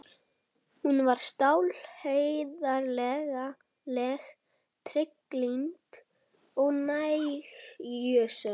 Hún var stálheiðarleg, trygglynd og nægjusöm.